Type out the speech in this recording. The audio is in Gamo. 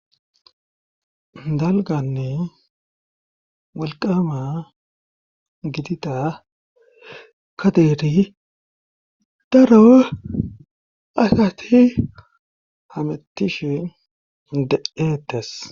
dalganne malqama gidida kadeeri daro asati hamattishin deeetas